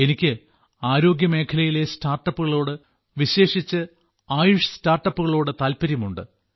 എനിക്ക് ആരോഗ്യമേഖലയിലെ സ്റ്റാർട്ടപ്പുകളോട് വിശേഷിച്ച് ആയുഷ് സ്റ്റാർട്ടപ്പുകളോട് താൽപ്പര്യമുണ്ട്